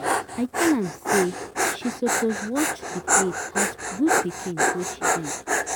I tell am say she suppose watch the plate as good pikin wey she be.